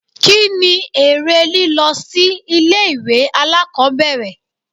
Kí ni èrè lílọ sí ilé ìwé alákòbẹ̀rẹ̀?